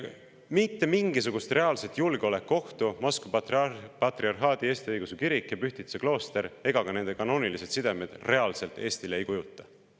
Mitte mingisugust reaalset julgeolekuohtu Moskva Patriarhaadi Eesti Õigeusu Kirik ja Pühtitsa klooster ega ka nende kanoonilised sidemed Eestile reaalselt ei kujuta.